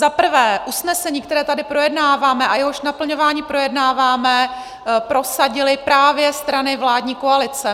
Za prvé, usnesení, které tady projednáváme a jehož naplňování projednáváme, prosadily právě strany vládní koalice.